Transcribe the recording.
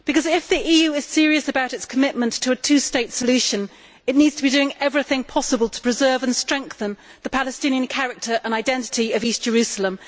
If the EU is serious about its commitment to a two state solution, it needs to be doing everything possible to preserve and strengthen the Palestinian character and identity of East Jerusalem.